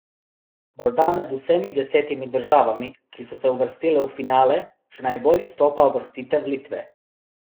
Morda med vsemi desetimi državami, ki so se uvrstile v finale, še najbolj izstopa uvrstitev Litve.